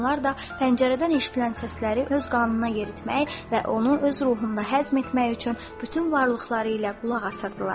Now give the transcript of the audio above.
Onlar da pəncərədən eşidilən səsləri öz qanına yeritmək və onu öz ruhunda həzm etmək üçün bütün varlıqları ilə qulaq asırdılar.